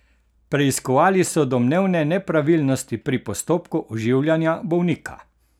Preiskovali so domnevne nepravilnosti pri postopku oživljanja bolnika.